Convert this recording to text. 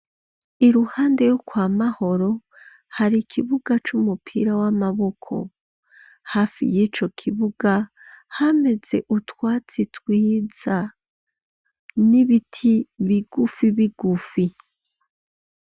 Iruhande yo kwa Mahoro hari kibuga c'umupira w'amaboko ,hafi y'ico kibuga hameze utwatsi twiza n'ibiti bigufi bigufi.